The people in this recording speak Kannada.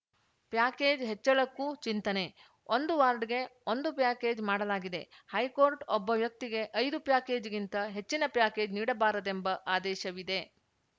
ಪ್ಯಾಕೇಜ್‌ ಹೆಚ್ಚಳಕ್ಕೂ ಚಿಂತನೆ ಒಂದು ವಾರ್ಡ್‌ಗೆ ಒಂದು ಪ್ಯಾಕೇಜ್‌ ಮಾಡಲಾಗಿದೆ ಹೈಕೋರ್ಟ್‌ ಒಬ್ಬ ವ್ಯಕ್ತಿಗೆ ಐದು ಪ್ಯಾಕೇಜ್‌ಗಿಂತ ಹೆಚ್ಚಿನ ಪ್ಯಾಕೇಜ್‌ ನೀಡಬಾರದೆಂಬ ಆದೇಶವಿದೆ